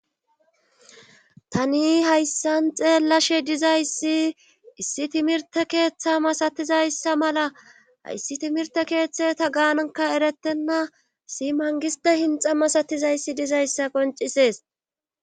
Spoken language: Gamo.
tani hayssan xeellashe dizayssi issi timirte keeththa masatizayssa mala hayssi timirte keeththe ta gaanaka erettenna si mangiste hinxa masatizayssi dizayssa qoncisees